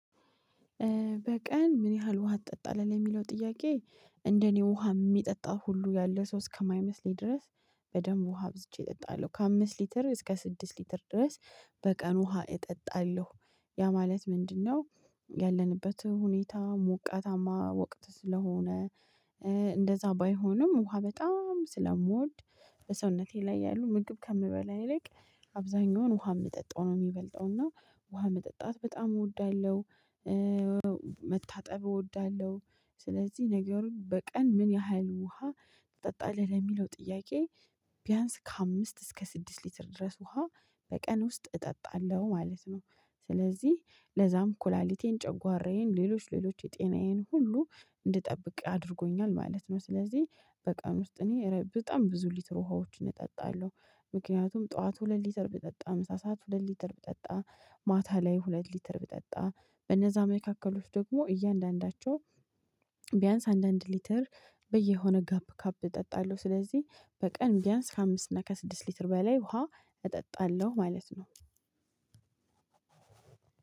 በቀን ምን ያህል ውሃ ትጠጣለህ ለሚለው ጥያቄ? እንደኔ ውሃ የሚጠጣው ሁሉ ያለ ሰው እስከማይመስለኝ ድረስ በደንብ ውሃ አብዝቼ እጠጣለሁ ከአምስት ሊትር እስከ ስድስት ሊትር ድረስ በቀን ውሃ እጠጣለሁ። ያ ማለት ምንድነው? ያለንበት ሁኔታ ሙቀታማ ወቅት ስለሆነ እንደዛ ባይሆንም ውሃ በጣም ስለምወድ በሰውነቴ ላይ ያሉ ምግብ ከምበላ ይልቅ አብዛኛውን ውሃ የምጠጣው ነው የሚበልጠው እና ውሃ መጠጣት በጣም እወዳለሁ። መታጠብ እወዳለሁ። ስለዚህ ነገሩን በቀን ምን ያህል ውሃ ትጠጣለህ ለሚለው ጥያቄ? ቢያንስ ከአምስት እስከ ስድስት ሊትር ድረስ ውሃ በቀን ውስጥ እጠጣለሁ ማለት ነው። ስለዚህ ለዛም ኩላሊቴን ጨጓራዬን ሌሎች ሌሎች የጤናዬን ሁሉ እንድጠብቅ አድርጎኛል ማለት ነው። ስለዚህ በቀን ውስጥ እኔ በጣም ብዙ ሊትር ውሃዎችን እጠጣለሁ። ምክንያቱም ጠዋቱ ሁለት ሊትር ብጠጣ ምሳ ሰዓት ሁለት ሊትር ብጠጣ ማታ ላይ ሁለት ሊትር ብጠጣ በነዛ መካከል ደግሞ እያንዳንዳቸው ቢያንስ አንድ አንድ ሊትር በየሆነ ጋፕ ጋፕ እጠጣለሁ ስለዚህ በቀን ቢያንስ ከአምስት እና ከስድስት ሊትር በላይ ውሃ እጠጣለሁ ማለት ነው።